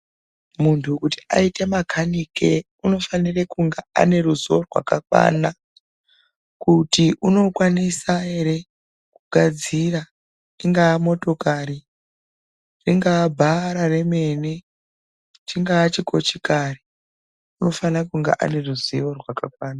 Muntu kuti aite makanike unofanire kunga aneruzivo rwaka kwana kuti unokwanisa ere kugadzira ingaa motokari ringa bhara remene chingaa chikochikari unofanakunga aneruzivo rwakakwana